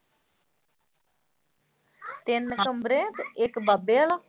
ਤਿੰਨ ਕਮਰੇ ਤੇ ਇੱਕ ਬਾਬੇ ਵਾਲਾ।